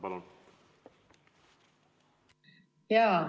Palun!